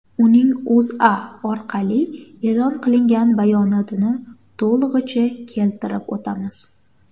Uning O‘zA orqali e’lon qilingan bayonotini to‘lig‘icha keltirib o‘tamiz.